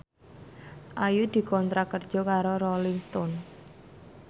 Ayu dikontrak kerja karo Rolling Stone